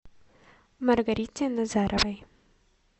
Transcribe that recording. маргарите назаровой